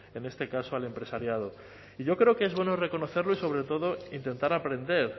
en este caso al empresariado y yo creo que es bueno reconocerlo y sobre todo intentar aprender